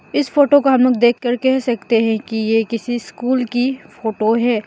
इस फोटो को हम लोग देख कर कह सकते हैं कि ये किसी स्कूल की फोटो है।